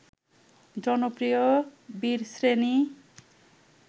জনপ্রিয় বীরশ্রেণী